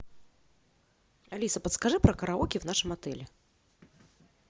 алиса подскажи про караоке в нашем отеле